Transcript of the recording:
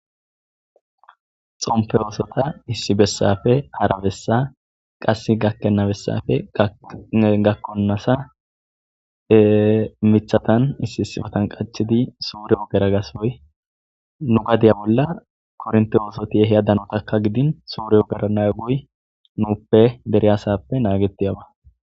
xompe oosota issibessafe arabessa qass gakkenabessafe gakkonasa mithatan issi issifotan qachidi suureyo geragasoy nu gadiya bolla kornti oosoti yeheyadanotakka gidin suriyo gerana guy nuuppe deriyasappe naagetiyaba